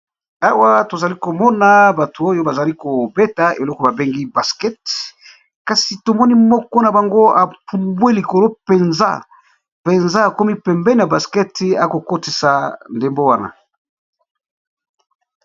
Awa tozali komona bato oyo bazali kobeta eloko babengi basket kasi tomoni moko na bango apumbwe likolo mpenza mpenza akomi pembe ya basket akokotisa ndembo wana.